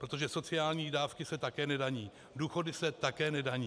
Protože sociální dávky se také nedaní, důchody se také nedaní.